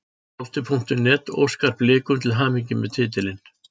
Fótbolti.net óskar Blikum til hamingju með titilinn.